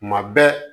Kuma bɛɛ